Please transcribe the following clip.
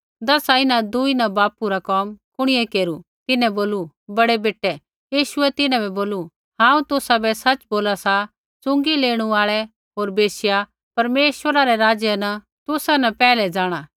दसा इन्हां दूई न बापू रा कोम कुणिऐ केरू तिन्हैं बोलू बड़ै बेटै यीशुऐ तिन्हां बै बोलू हांऊँ तुसाबै सच़ बोला सा च़ुँगी लेणू आल़ै होर वैश्या परमेश्वरै रै राज्य बै तुसा न पैहलै जाँणा